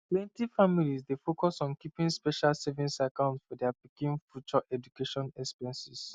plenty families dey focus on keeping special savings account for dia pikin future education expenses